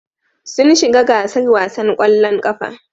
Sun shiga gasar wasan ƙwallon ƙafa.